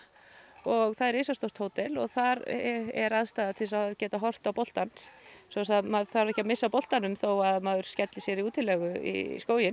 og það er risastórt hótel og þar er aðstaða til að geta horft á boltann svoleiðis að maður þarf ekki að missa af boltanum þó að maður skelli sér í útilegu í skóginn